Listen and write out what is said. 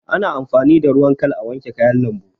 Ana amfani da ruwan khal a, wanke kayan lambu